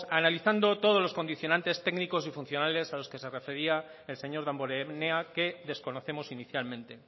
analizando todos los condicionantes técnicos y funcionales a los que se refería el señor damborenea que desconocemos inicialmente